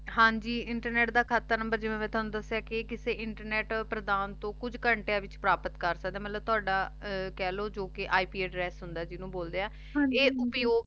ਹਾਂਜੀ internet ਦਾ ਕਹਤ ਨੰਬਰ ਜਿਵੇਂ ਮੈਂ ਥਾਨੁ ਦਸ੍ਯ ਕੇ ਕਿਸੇ ਇੰਟਰਨੇਟ ਪ੍ਰਦਾਨ ਤਨ ਕੁਜ ਘੰਟੀਆਂ ਵਿਚ ਪਰਾਪਤ ਕਰ ਸਕਦਾ ਮਤਲਬ ਤਾਵਾਦਾ ਕਹ ਲੋ ਜੋ ਕੇ ip address ਹੁੰਦਾ ਜਿਨੋਂ ਬੋਲਦੇ ਆ ਹਾਂਜੀ ਆਯ ਉਪਯੋਗ